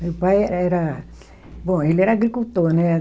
Meu pai era. Bom, ele era agricultor, né?